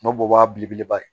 N'o bɔ y'a belebeleba ye